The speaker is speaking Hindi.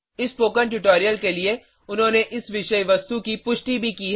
इस स्पोकन ट्यूटोरियल के लिए उन्होंने इस विषय वस्तु की पुष्टि भी की है